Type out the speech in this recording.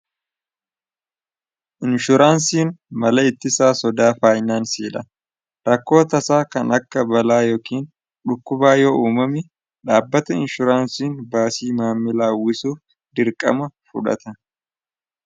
inshuuraansiin mala itti isaa sodaa faayinaansiidha rakkoota isaa kan akka balaa yookiin dhukkubaa yoo uumamu dhaabbata inshuuraansiin baasii maammilaa uwwisuuf dirqama fudhata.